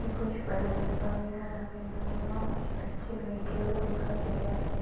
कुछ बलून्स वगेरा लगे हुए हैं और कुछ बच्चे बैठे हुए दिखाई दे रहे।